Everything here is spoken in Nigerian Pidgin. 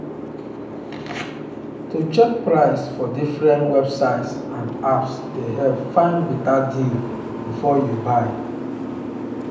to check price for different websites and apps dey help find better deal before you buy.